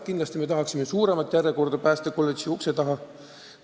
Muidugi me sooviksime suuremat järjekorda päästekolledži ukse taha.